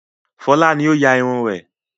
Fọlá ni ó ya irun rẹ̀.